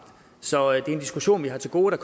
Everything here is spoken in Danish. så det er en diskussion vi har til gode og